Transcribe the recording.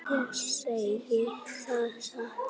Ég segi það satt.